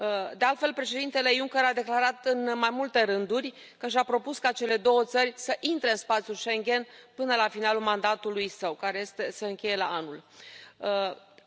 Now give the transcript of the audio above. De altfel, președintele Juncker a declarat, în mai multe rânduri, că și a propus ca cele două țări să intre în spațiul Schengen până la finalul mandatului său, care se încheie anul viitor.